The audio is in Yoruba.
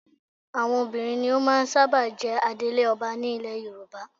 Àwọn obìnrin ni ó máa ń sábà jẹ adelé ọba ní ilẹ Yorùbá